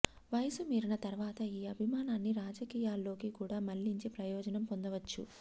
వయసు మీరిన తరువాత ఈ అభిమానాన్ని రాజకీయాల్లోకి కూడా మళ్లీంచి ప్రయోజనం పొందవచ్చు